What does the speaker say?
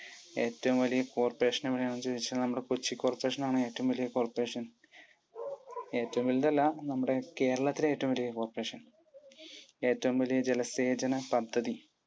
ഏറ്റവും വലിയ Corporation എവിടെയാണെന്ന് ചോദിച്ചാൽ അത് നമ്മുടെ കൊച്ചി Corporation ആണ് ഏറ്റവും വലിയ corporation. ഏറ്റവും വലിയതല്ല, നമ്മുടെ കേരളത്തിലെ ഏറ്റവും വലിയ corporation. ഏറ്റവും വലിയ ജലസേചന പദ്ധതി?